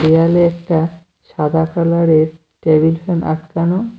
দেয়ালে একটা সাদা কালারের টেবিল ফ্যান আটকানো।